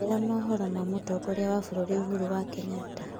njĩĩra mohoro ma mutongoria wa bururi uhuru wa kenyatta